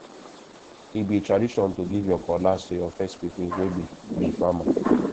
e be tradition to give your cutlass to your first pikin wey be be farmer